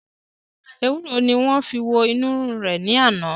Ewuro ni wọn fi wo inu rirun re ni ana.